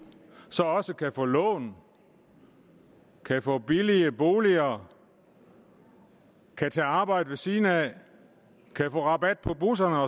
su også kan få lån kan få billige boliger kan tage arbejde ved siden af kan få rabat på busserne